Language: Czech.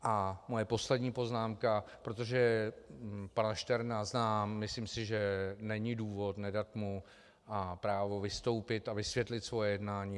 A moje poslední poznámka, protože pana Šterna znám, myslím si, že není důvod nedat mu právo vystoupit a vysvětlit svoje jednání.